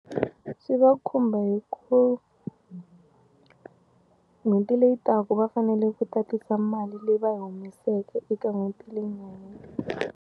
Swi va khumba hi ku n'hweti leyi taka va fanele ku tatisa mali leyi va yi humeseke eka n'hweti leyi nga hela.